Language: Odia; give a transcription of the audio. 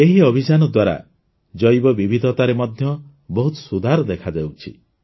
ଏହି ଅଭିଯାନ ଦ୍ୱାରା ଜୈବ ବିବିଧତାରେ ମଧ୍ୟ ବହୁତ ସୁଧାର ଦେଖାଯାଉଛି